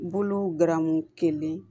Bolo garamu kelen